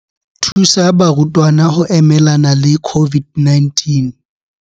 Thusa barutwana ho emelana le COVID-19.